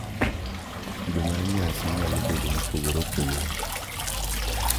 Kido mar nyasi nyalo bedo mopogore opogore